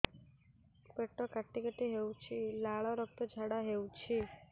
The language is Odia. ପେଟ କାଟି କାଟି ହେଉଛି ଲାଳ ରକ୍ତ ଝାଡା ହେଉଛି